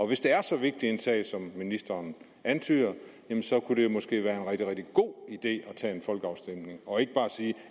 hvis det er så vigtig en sag som ministeren antyder så kunne det måske være en rigtig rigtig god idé at tage en folkeafstemning og ikke bare sige